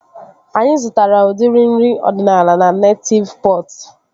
Anyị zụtara udiri nri ọdịnala na Netịv Pọt